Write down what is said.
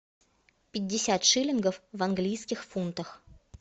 пятьдесят шиллингов в английских фунтах